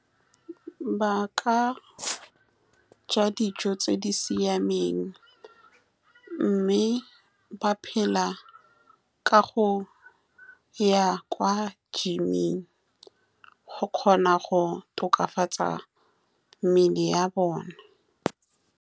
Ba ka ja dijo tse di siameng, mme ba phela ka go ya kwa gyming go kgona go tokafatsa mmele ya bone.